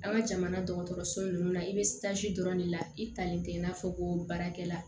An ka jamana dɔgɔtɔrɔso nunnu na i bɛ dɔrɔn de la i talen tɛ i n'a fɔ ko baarakɛla